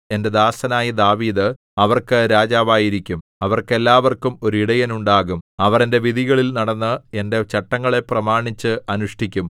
എന്റെ ദാസനായ ദാവീദ് അവർക്ക് രാജാവായിരിക്കും അവർക്കെല്ലാവർക്കും ഒരു ഇടയൻ ഉണ്ടാകും അവർ എന്റെ വിധികളിൽ നടന്ന് എന്റെ ചട്ടങ്ങളെ പ്രമാണിച്ച് അനുഷ്ഠിക്കും